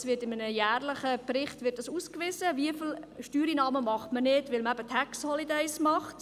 Also wird in einem jährlichen Bericht ausgewiesen, wie viele Steuereinnahmen man nicht macht, weil man eben «tax holidays» macht.